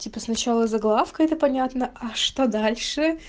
типа сначала заглавка это понятно а что дальше